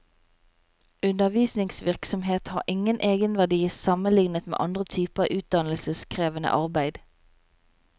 Undervisningsvirksomhet har ingen egenverdi sammenlignet med andre typer utdannelseskrevende arbeid.